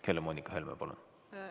Helle-Moonika Helme, palun!